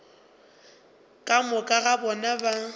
ka moka ga bona ba